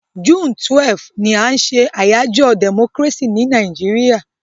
June 12 ni a n se àyájó democracy ni Naijiria